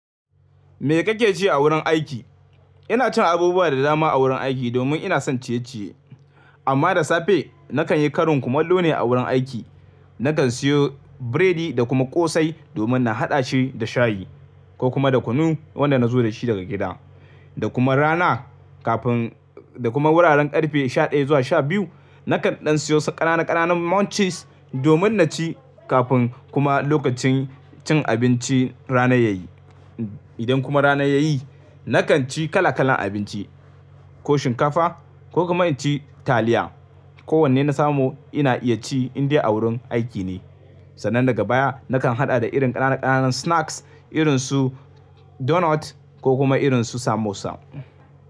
Me kake ci a wurin aiki? Ina cin abubuwa da dama a wurin aiki domin ina son ciye-ciye. Amma da safe nakan yi karin kumallo ne a wurin aiki. Nakan siyo biredi da kuma ƙosai domin na haɗa shi da shayi ko kuma da kunu, wanda na zo da shi daga gida. Da kuma rana kafin, da kuma wuraren ƙarfe sha ɗaya zuwa sha biyu, nakan ɗan siyo wasu ƙananan ƙananan munchies domin na ci kafin kuma lokacin cin abinci rana yayi. Idan kuma rana yayi, nakan ci kala kalan abinci, ko shinkafa, ko kuma inci taliya. Ko wanne na samu ina iya ci in dai a wurin aiki ne. Sannan daga baya nakan haɗa da irin ƙananan ƙananan snacks irin su donut ko kuma irin su samosa.